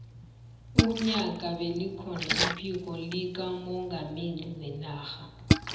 unyaka bekukhona iphiko likamongameli wenarha